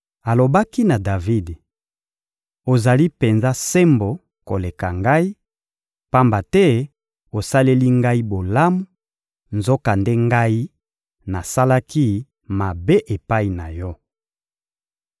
Alobaki na Davidi: — Ozali penza sembo koleka ngai, pamba te osaleli ngai bolamu, nzokande ngai nasalaki mabe epai na yo!